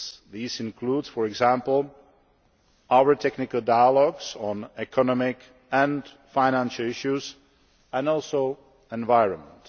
These include, for example, our technical dialogues on economic and financial issues and also the environment.